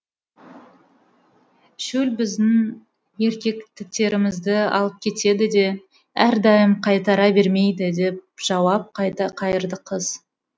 шөл біздің еркектерімізді алып кетеді де әрдайым қайтара бермейді деп жауап қайырды қыз